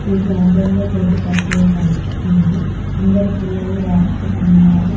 ఈ గార్డెన్ లో గడ్డి పచ్చగా కనిపిస్తున్నది అందరు పిల్లలూ రాస్తూ ఉన్నారు.